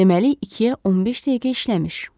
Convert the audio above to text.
Deməli 2-yə 15 dəqiqə işləmiş.